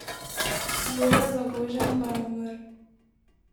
Jože Zagožen pa je umrl.